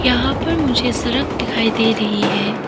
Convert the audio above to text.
यहां पर मुझे सड़क दिखाई दे रही है।